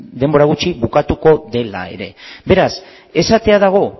denbora gutxi bukatuko dela ere beraz esatea dago